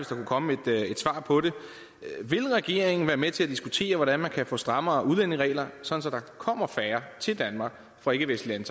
kunne komme et svar på det vil regeringen være med til at diskutere hvordan man kan få strammere udlændingeregler sådan at der kommer færre til danmark fra ikkevestlige